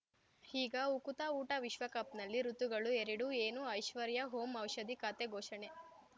ಈಗ ಉಕುತ ಊಟ ವಿಶ್ವಕಪ್‌ನಲ್ಲಿ ಋತುಗಳು ಎರಡು ಏನು ಐಶ್ವರ್ಯಾ ಓಂ ಔಷಧಿ ಖಾತೆ ಘೋಷಣೆ